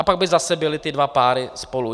A pak by zase byly ty dva páry spolu.